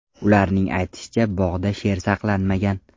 Ularning aytishicha, bog‘da sher saqlanmagan.